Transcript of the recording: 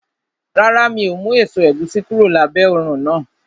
Rárá, mi ò mú èso ẹ̀gúsí kúrò lábẹ́ òrùn náà